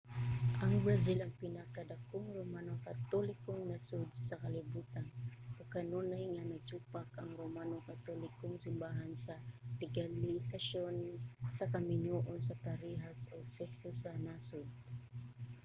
ang brazil ang pinakadakong romano katolikong nasud sa kalibutan ug kanunay nga nagsupak ang romano katolikong simbahan sa legalisasyon sa kaminyoon sa parehas og sekso sa nasud